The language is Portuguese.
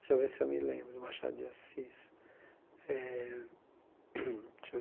Deixa eu ver se eu me lembro de Machado de Assis. Eh deixa